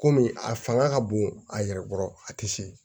Kɔmi a fanga ka bon a yɛrɛ kɔrɔ a tɛ se